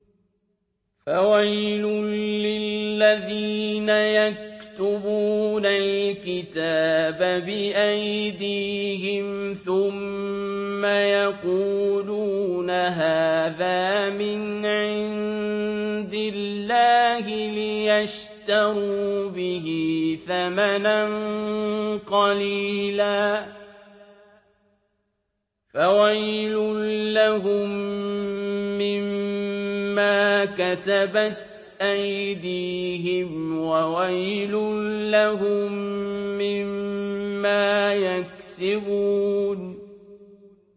فَوَيْلٌ لِّلَّذِينَ يَكْتُبُونَ الْكِتَابَ بِأَيْدِيهِمْ ثُمَّ يَقُولُونَ هَٰذَا مِنْ عِندِ اللَّهِ لِيَشْتَرُوا بِهِ ثَمَنًا قَلِيلًا ۖ فَوَيْلٌ لَّهُم مِّمَّا كَتَبَتْ أَيْدِيهِمْ وَوَيْلٌ لَّهُم مِّمَّا يَكْسِبُونَ